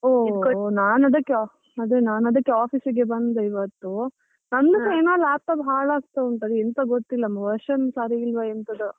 ಹೊ ನಾನ್ ಅದಕ್ಕೆ ಆದ್ರೆ ನಾನ್ ಅದಕ್ಕೆ office ಗೆ ಬಂದೆ ಇವತ್ತು, ನಂದುಸಾ ಏನೋ laptop ಹಾಳಾಗ್ತಾ ಉಂಟು ಅದು ಎಂತ ಗೊತ್ತಿಲ್ಲ, version ಸರಿ ಇಲ್ವಾ ಎಂತದೋ.